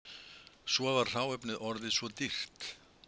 Svo var hráefnið orðið svo dýrt